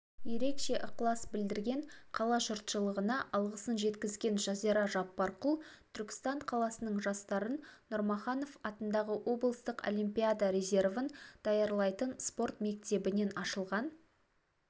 ерекше ықылас білдірген қала жұртшылығына алғысын жеткізген жазира жаппарқұл түркістан қаласының жастарын нұрмаханов атындағы облыстық олимпиада резервін даярлайтын спорт мектебінен ашылған